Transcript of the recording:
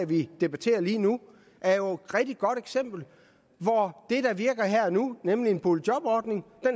vi debatterer lige nu er jo rigtig godt eksempel hvor det der virker her og nu nemlig en boligjobordning